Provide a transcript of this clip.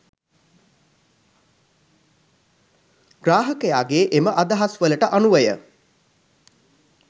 ග්‍රාහකයාගේ එම අදහස් වලට අනුවය.